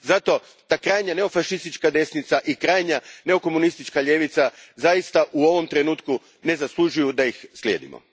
Zato, ta krajnja neofašistička desnica i krajnja neokomunistička ljevica, zaista u ovom trenutku ne zaslužuju da ih slijedimo.